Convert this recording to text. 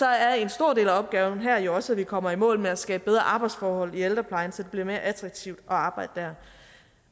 er en stor del af opgaven her jo også at vi kommer i mål med at skabe bedre arbejdsforhold i ældreplejen så det bliver mere attraktivt at arbejde der